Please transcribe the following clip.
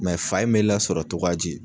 fa in mɛ lasɔrɔ cogoya di?